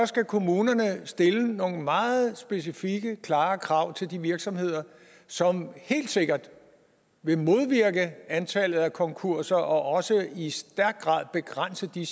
skal kommunerne stille nogle meget specifikke klare krav til de virksomheder som helt sikkert vil modvirke antallet af konkurser og også i stærk grad begrænse de